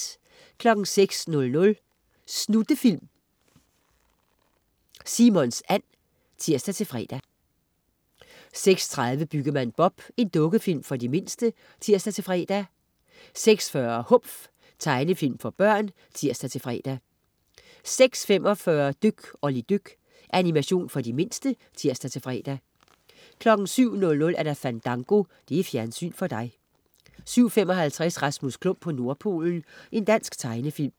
06.00 Snuttefilm. Simons and (tirs-fre) 06.30 Byggemand Bob. Dukkefilm for de mindste (tirs-fre) 06.40 Humf. Tegnefilm for børn (tirs-fre) 06.45 Dyk Olli dyk. Animation for de mindste (tirs-fre) 07.00 Fandango. Fjernsyn for dig 07.55 Rasmus Klump på Nordpolen. Dansk tegnefilm